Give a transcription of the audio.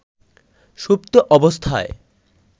সুপ্ত অবস্থায়